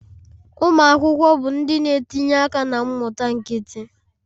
Ụmụ akwụkwọ bụ ndị na-etinye aka na mmụta nkịtị